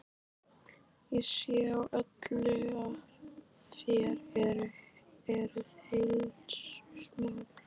Ég sé á öllu, að þér eruð heiðursmaður.